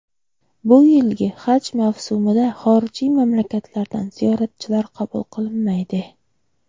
bu yilgi Haj mavsumida xorijiy mamlakatlardan ziyoratchilar qabul qilinmaydi.